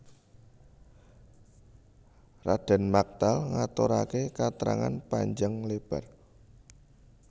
Radèn Maktal ngaturaké katrangan panjang lébar